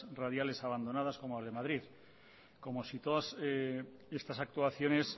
radiales abandonadas como la de madrid como si todas estas actuaciones